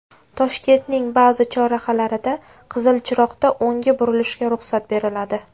Toshkentning ba’zi chorrahalarida qizil chiroqda o‘ngga burilishga ruxsat beriladi.